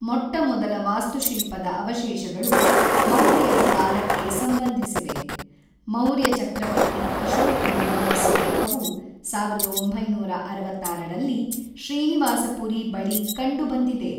ಮೊಟ್ಟಮೊದಲ ವಾಸ್ತುಶಿಲ್ಪದ ಅವಷೇಶಗಳು ಮೌರ್ಯರ ಕಾಲಕ್ಕೆ ಸಂಬಂಧಿಸಿವೆ; ಮೌರ್ಯ ಚಕ್ರವರ್ತಿ ಅಶೋಕನ ಒಂದು ಸ್ಮಾರಕವು ಸಾವಿರದ ಒಂಬೈನೂರ ಅರವತ್ತಾರರಲ್ಲಿ ಶ್ರೀನಿವಾಸಪುರಿ ಬಳಿ ಕಂಡುಬಂದಿದೆ .